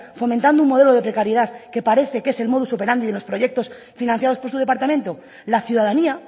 fomentando un modelo de precariedad que parece que es el modus operandi de los proyectos financiados por su departamento la ciudadanía